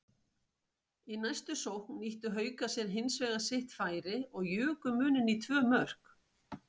Í næstu sókn nýttu Haukar sér hinsvegar sitt færi og juku muninn í tvö mörk.